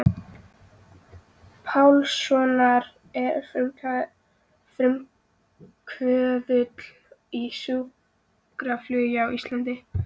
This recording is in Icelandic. Pálssonar sem var frumkvöðull í sjúkraflugi á Íslandi.